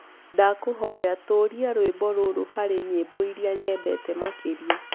ndakũhoya tuuria rwĩmbo rũrũ harĩ nyĩmboĩrĩa nyendete makĩrĩa